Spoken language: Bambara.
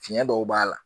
Fiɲɛ dɔw b'a la